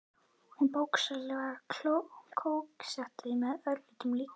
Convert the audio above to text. Hún bókstaflega kóketterar með öllum líkamanum.